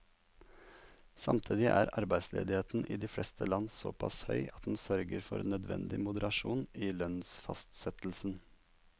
Samtidig er arbeidsledigheten i de fleste land såpass høy at den sørger for nødvendig moderasjon i lønnsfastsettelsen.